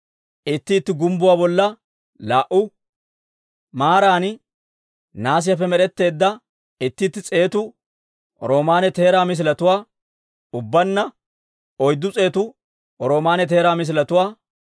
itti itti gumbbuwaa bolla laa"u maaran nahaasiyaappe med'etteedda itti itti s'eetu roomaanne teeraa misiletuwaa, ubbaanna oyddu s'eetu roomaanne teeraa misiletuwaa,